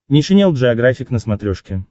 нейшенел джеографик на смотрешке